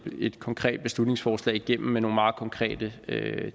et konkret beslutningsforslag igennem med nogle meget konkrete